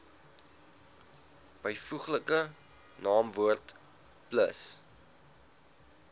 byvoeglike naamwoord plus